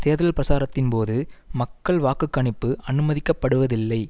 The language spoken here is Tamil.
தேர்தல் பிரச்சாரத்தின் போது மக்கள் வாக்கு கணிப்பு அனுமதிக்கப்படுவதில்லை